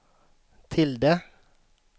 tilde